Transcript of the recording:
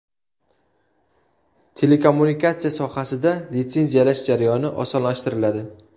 Telekommunikatsiya sohasida litsenziyalash jarayoni osonlashtiriladi.